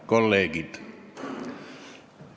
Kolleegid!